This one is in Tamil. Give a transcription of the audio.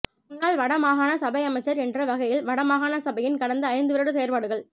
முன்னால் வடமாகாண சபை அமைச்சர் என்ற வகையில் வடமாகாணசபையின் கடந்த ஐந்து வருட செயற்பாடுகள்